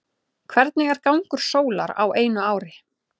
hvernig er gangur sólar á einu ári